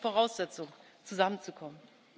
Das ist die Voraussetzung, um zusammenzukommen.